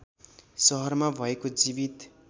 शहरमा भएको जीवित